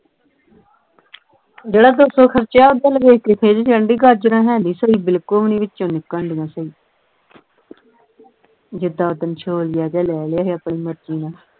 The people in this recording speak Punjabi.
ਜਿਹੜਾ ਦੋ ਸੌ ਖਰਚਾ ਹੈ ਉਹਦੇ ਵੱਲ ਵੇਖ ਕੇ ਖਿੱਝ ਚੜ੍ਹਨ ਦਈ ਗਾਜਰਾਂ ਹੈ ਨਹੀਂ ਸਹੀ ਬਿਲਕੁਲ ਵੀ ਨਹੀਂ ਵਿਚੋਂ ਨਿਕਲਣ ਢਈਆਂ ਸਹੀ ਜਿਦਾਂ ਉਸ ਦਿਨ ਛੋਲੀਆ ਜਿਹਾ ਲੈ ਲਿਆ ਹੀ ਆਪਣੀ ਮਰਜ਼ੀ ਨਾਲ